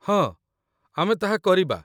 ହଁ, ଆମେ ତାହା କରିବା।